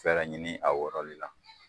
Fɛrɛ ɲini a wɔrɔli la.